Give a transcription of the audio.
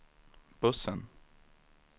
bussen